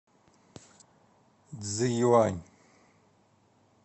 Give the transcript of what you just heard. цзиюань